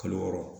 Kalo wɔɔrɔ